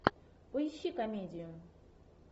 поищи комедию